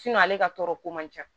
ale ka tɔɔrɔ ko man ca